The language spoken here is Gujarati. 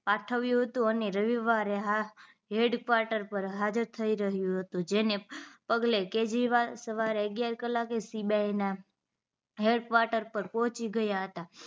પાઢવ્યો હતો અને રવિવારે હેડકવાટેર પર હાજર થઇ રહ્યો હતો જેને પગલે કેજરીવાલ સવારે અગીયાર કલાકે CBI ના હડકવોટર પર પોહ્ચી ગયા હતા